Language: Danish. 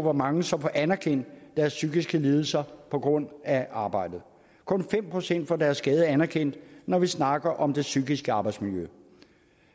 hvor mange som får anerkendt deres psykiske lidelser på grund af arbejdet kun fem procent får deres skade anerkendt når vi snakker om det psykiske arbejdsmiljø